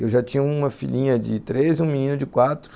Eu já tinha uma filhinha de três e um menino de quatro.